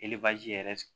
yɛrɛ